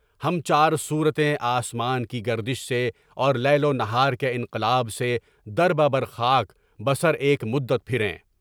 ہم چار صورَتین آسان کی گردش سے اور لیل و نہار کے انقلاب سے در بہ در خاک بہ سر ایک مدت پھریں۔